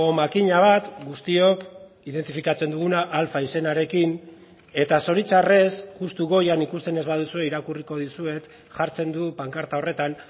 makina bat guztiok identifikatzen duguna alfa izenarekin eta zoritxarrez justu goian ikusten ez baduzue irakurriko dizuet jartzen du pankarta horretan